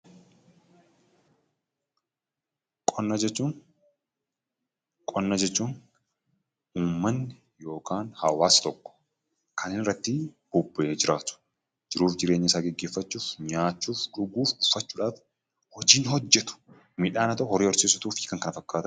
Qonna jechuun uummanni yookaan hawaasni tokko kan irratti bobba'ee jiraatu, jiruu fi jireenya isaa gaggeeffachuuf nyaachuuf, dhuguuf, uffachuuf hojii hojjetu. Midhaan haa ta'uu, horii horsiisuu fi kan kana fakkaatan.